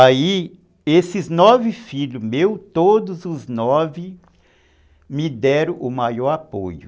Aí, esses nove filhos meus, todos os nove me deram o maior apoio.